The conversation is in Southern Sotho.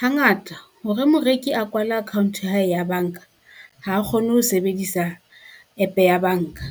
Hangata hore moreki a kwala account ya hae ya banka, ha kgone ho sebedisa app ya banka.